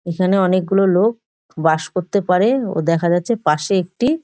এখানে অনেকগুলো লোক বাস করতে পারে ও দেখা যাচ্ছে পাশে একটি--